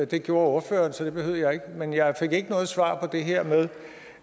det gjorde ordføreren så det behøvede jeg ikke men jeg fik ikke noget svar på det her med